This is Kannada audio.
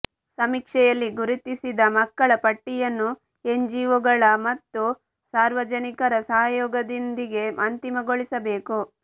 ಸಮೀಕ್ಷೆಯಲ್ಲಿ ಗುರುತಿಸಿದ ಮಕ್ಕಳ ಪಟ್ಟಿಯನ್ನು ಎನ್ಜಿಓ ಗಳ ಮತ್ತು ಸಾರ್ವಜನಿಕರ ಸಹಯೋಗದೊಂದಿಗೆ ಅಂತಿಮಗೊಳಿಸಬೇಕು